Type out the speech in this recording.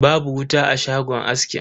Babu wuta a shagon askin.